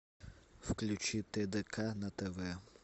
включи тдк на тв